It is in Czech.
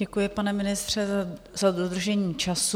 Děkuji, pane ministře, za dodržení času.